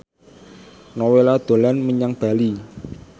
Nowela dolan menyang Bali